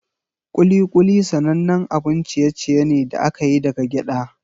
Kuli-kuli sanannen abun ciye-ciye ne da aka yi daga gyada.